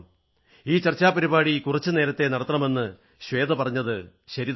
ഈ ചർച്ചാ പരിപാടി കുറച്ചു നേരത്തേ നടത്തണമെന്നു ശ്വേത പറഞ്ഞതു ശരിതന്നെയാണ്